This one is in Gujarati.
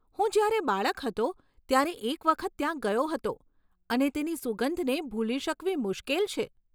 હું જ્યારે બાળક હતો ત્યારે એક વખત ત્યાં ગયો હતો અને તેની સુગંધને ભૂલી શકવી મુશ્કેલ છે.